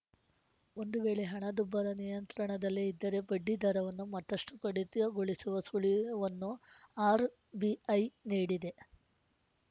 ಒಂದು ವೇಳೆ ಹಣದುಬ್ಬರ ನಿಯಂತ್ರಣದಲ್ಲೇ ಇದ್ದರೆ ಬಡ್ಡಿ ದರವನ್ನು ಮತ್ತಷ್ಟುಕಡಿತಗೊಳಿಸುವ ಸುಳಿವುವನ್ನು ಆರ್‌ಬಿಐ ನೀಡಿದೆ